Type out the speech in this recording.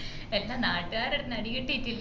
എന്ന നാട്ടുകാരടുതന്ന അടികിട്ടിട്ടില്ലെങ്കി